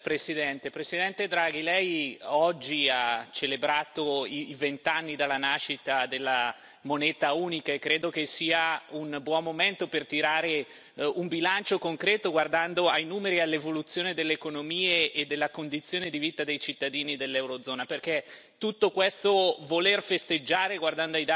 colleghi, Presidente Draghi, Lei oggi ha celebrato i vent'anni dalla nascita della moneta unica, e credo che sia un buon momento per tirare un bilancio concreto, guardando ai numeri e all'evoluzione delle economie e della condizione di vita dei cittadini dell'Eurozona, perché tutto questo voler festeggiare, guardando ai dati, io